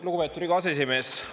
Lugupeetud Riigikogu aseesimees!